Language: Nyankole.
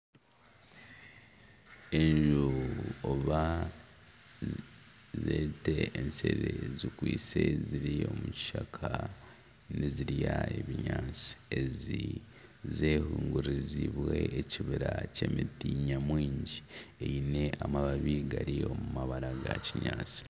Enjubu oba zete eshere zikwitse ziri omu kishaka nizirya ebinyaatsi. Ezi zehingurizibwe ekibira ky'emiti nyamwingi eine amababi gari omu mabara ga kinyaatsi.